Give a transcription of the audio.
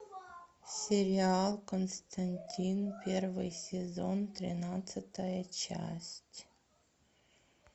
сериал константин первый сезон тринадцатая часть